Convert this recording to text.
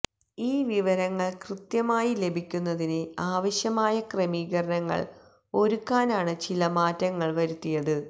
ഈ വിവരങ്ങള് കൃത്യമായി ലഭിക്കുന്നതിന് ആവശ്യമായ ക്രമീകരണങ്ങള് ഒരുക്കാനാണ് ചില മാറ്റങ്ങള് വരുത്തിയത്